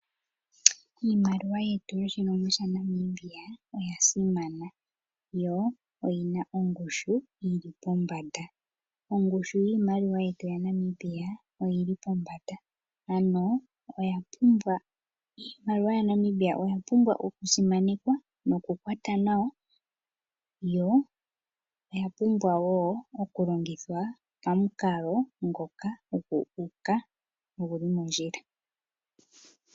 Iimaliwa yetu yoshilongo shaNamibia oya simana yo oyina ongushu yili pombanda. Ongushu yiimaliwa yetu yaNamibia oyi li pombanda ano Iimaliwa yaNamibia oya pumbwa okusimanekwa nokukwatwa nawa yo oya pumbwa okulongithwa pamukalo ngoka guuka go oguli mondjila.